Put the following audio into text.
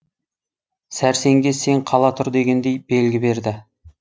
сәрсенге сен қала тұр дегендей белгі берді